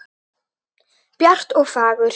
Bjart og fagurt.